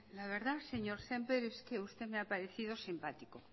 la verdad señor sémper es que usted me ha parecido simpático